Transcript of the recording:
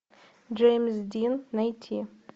джеймс дин найти